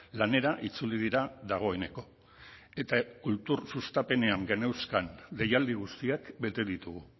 lanera itzuli dira dagoeneko eta kultur sustapenean geneuzkan deialdi guztiak bete ditugu